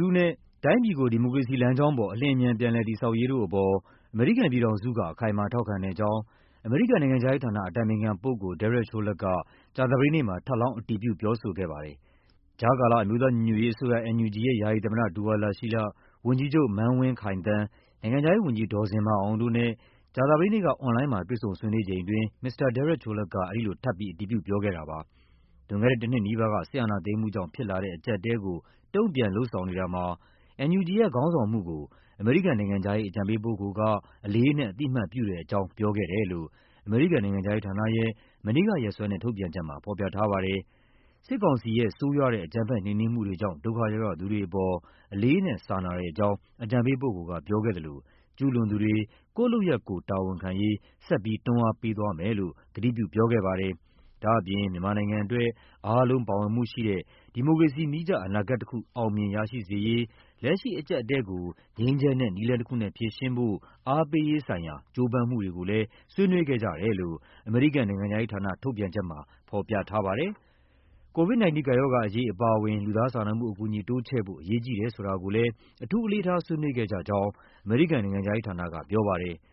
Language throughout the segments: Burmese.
လူထုနဲ့ တိုင်းပြည်ကို ဒီမိုကရေစီလမ်းကြောင်းပေါ် အလျင်အမြန် ပြန်လည်တည်ဆောက်ရေးတို့အပေါ် အမေရိကန် ပြည်ထောင်စုက အခိုင်အမာ ထောက်ခံတဲ့အကြောင်း အမေရိကန်နိုင်ငံခြားရေးဌာန အတိုင်ပင်ခံပုဂ္ဂိုလ် Derek Chollet က ကြာသပတေးနေ့မှာ ထပ်လောင်း အတည်ပြုပြောဆိုခဲ့ပါတယ်။ ကြားကာလ အမျိုးသားညီညွတ်ရေးအစိုးရ (NUG) ရဲ့ ယာယီသမ္မတ ဒူဝါလရှီးလ၊ ဝန်ကြီးချုပ် မန်းဝင်းခိုင်သန်း၊ နိုင်ငံခြားရေး ဝန်ကြီး ဒေါ်ဇင်မာအောင်တို့နဲ့ ကြာသပတေးနေ့က အွန်လိုင်းမှာ တွေ့ဆုံဆွေးနွေးချိန်အတွင်း မစ္စတာ Derek Chollet က အဲဒီလို ထပ်ပြီး အတည်ပြုပြောခဲ့တာပါ။ လွန်ခဲ့တဲ့တနှစ်နီးပါးက စစ်အာဏာသိမ်းမှုကြောင့် ဖြစ်လာတဲ့အကျပ်အတည်းကို တုံ့ပြန်လုပ်ဆောင်နေတာမှာ NUG ရဲ့ ခေါင်းဆောင်မှုကို အမေရိကန်နိုင်ငံခြားရေး အကြံပေးပုဂ္ဂိုလ်က အလေးအနက် အသိအမှတ်ပြုတဲ့အကြောင်း ပြောခဲ့တယ်လို့ အမေရိကန်နိုင်ငံခြားရေးဌာနရဲ့ မနေ့ကရက်စွဲနဲ့ ထုတ်ပြန်ချက်မှာ ဖော်ပြထားပါတယ်။ စစ်ကောင်စီရဲ့ ဆိုးရွားတဲ့ အကြမ်းဖက် နှိမ်နင်းမှုတွေကြောင့် ဒုက္ခရောက်ရသူတွေအပေါ် အလေးအနက် စာနာတဲ့အကြောင်း အကြံပေးပုဂ္ဂိုလ်က ပြောခဲ့သလို ကျူးလွန်သူတွေ ကိုယ့်လုပ်ရပ်ကိုယ် တာဝန်ခံရေး ဆက်ပြီး တွန်းအားပေးသွားမယ်လို့ ကတိပြု ပြောခဲ့ပါတယ်။ ဒါ့အပြင် မြန်မာနိုင်ငံအတွက် အားလုံး ပိုမိုပါဝင်မှုရှိတဲ့ ဒီမိုကရေစီနည်းကျ အနာဂတ်တခု အောင်မြင်ရရှိစေရေး၊ လက်ရှိအကျပ်အတည်းကို ငြိမ်းချမ်းတဲ့နည်းလမ်းတခုနဲ့ဖြေရှင်းဖို့ အားပေးရေးဆိုင်ရာ ကြိုးပမ်းမှုတွေကိုလည်း ဆွေးနွေးခဲ့ကြတယ် လို့ အမေရိကန်နိုင်ငံခြားရေးဌာန ထုတ်ပြန်ချက်မှာ ဖော်ပြထားပါတယ်။ COVID-19 ကပ်ရောဂါအရေးအပါအဝင် လူသားစာနာမှုအကူအညီ တိုးချဲ့ဖို့ အရေးကြီးတယ်ဆိုတာကိုလည်း အထူး အလေးထား ဆွေးနွေးခဲ့ကြကြောင်း အမေရိကန်နိုင်ငံခြားရေးဌာနကပြောပါတယ်။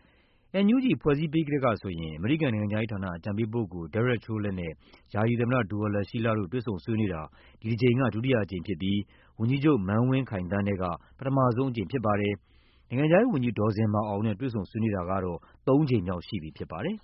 NUG ဖွဲ့စည်းပြီးကတည်းကဆိုရင် အမေရိကန်နိုင်ငံခြားရေးဌာန အကြံပေးပုဂ္ဂိုလ် Derek Chollet နဲ့ ယာယီသမ္မတ ဒူဝါလရှီးလတို့ တွေ့ဆုံဆွေးနွေးတာ ဒီတကြိမ်က ဒုတိယအကြိမ်ဖြစ်ပြီး ဝန်ကြီးချုပ် မန်းဝင်းခိုင်သန်းနဲ့က ပထမဆုံးအကြိမ်ဖြစ်ပါတယ်။ နိုင်ငံခြားရေးဝန်ကြီး ဒေါ်ဇင်မာအောင်နဲ့ တွေ့ဆုံဆွေးနွေးတာကြောင့် သုံးကြိမ်မြောက်ရှိပြီဖြစ်ပါတယ်